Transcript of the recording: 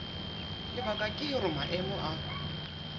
lebaka ke hore maemo a